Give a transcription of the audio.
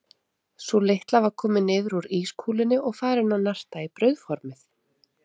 Sú litla var komin niður úr ískúlunni og farin að narta í brauðformið.